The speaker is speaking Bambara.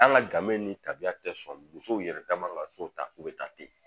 An ka gamɛ ni tabiya tɛ sɔn musow yɛrɛ da man kan ka so ta k'u bɛ taa ten